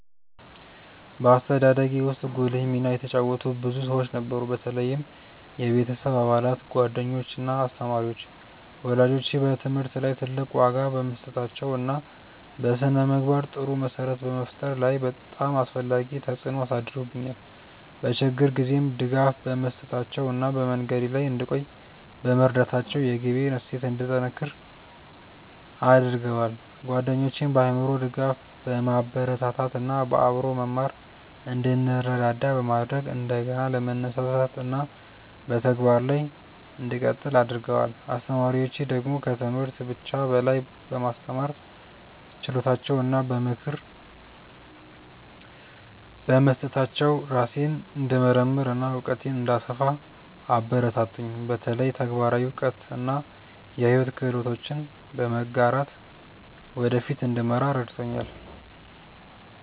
በአስተዳደጌ ውስጥ ጉልህ ሚና የተጫወቱ ብዙ ሰዎች ነበሩ፣ በተለይም የቤተሰብ አባላት፣ ጓደኞች እና አስተማሪዎች። ወላጆቼ በትምህርት ላይ ትልቅ ዋጋ በመስጠታቸው እና በስነ-ምግባር ጥሩ መሰረት በመፍጠር ላይ በጣም አስፈላጊ ተጽዕኖ አሳድረውብኛል፤ በችግር ጊዜም ድጋፍ በመስጠታቸው እና በመንገዴ ላይ እንድቆይ በመርዳታቸው የግቤን እሴት እንዲጠነክር አድርገዋል። ጓደኞቼም በአእምሮ ድጋፍ፣ በማበረታታት እና በአብሮ መማር እንድንረዳዳ በማድረግ እንደገና ለመነሳሳት እና በተግባር ላይ እንድቀጥል አግርገደዋል። አስተማሪዎቼ ደግሞ ከትምህርት ብቻ በላይ በማስተማር ችሎታቸው እና በምክር በመስጠታቸው ራሴን እንድመርምር እና እውቀቴን እንድሰፋ አበረታቱኝ፤ በተለይ ተግባራዊ እውቀት እና የሕይወት ክህሎቶችን በመጋራት ወደ ፊት እንድመራ ረድተውኛል።